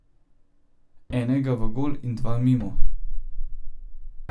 Enega v gol in dva mimo.